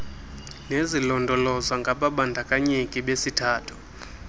nezilondolozwa ngababandakanyeki besithathu